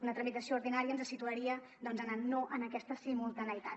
una tramitació ordinària ens situaria doncs a anar no en aquesta simultaneïtat